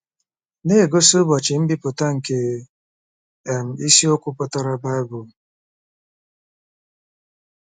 Na-egosi ụbọchị mbipụta nke um isiokwu pụtara BIBLE